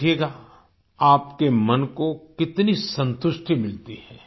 देखिएगा आपके मन को कितनी संतुष्टि मिलती है